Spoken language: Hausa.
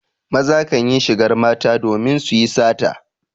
Maza kan yi shigar mata domin su yi sata.